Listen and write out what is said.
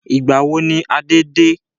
Ìgbàwo ni Adé de?